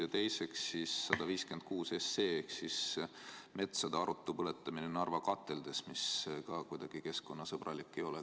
Ja teiseks, eelnõu 156 ehk siis metsade arutu põletamine Narva kateldes, mis ka kuidagi keskkonnasõbralik ei ole.